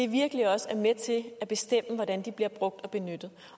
virkelig også er med til at bestemme hvordan de bliver brugt og benyttet